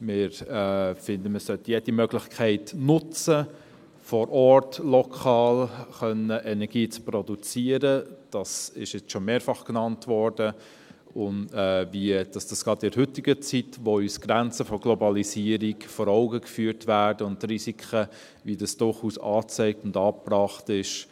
Wir finden, man sollte jede Möglichkeit nutzen, vor Ort lokal Energie produzieren zu können – das wurde jetzt schon mehrfach genannt –, gerade in der heutigen Zeit, in der uns die Grenzen und Risiken der Globalisierung vor Augen geführt werden, wie dies durchaus angezeigt und angebracht ist.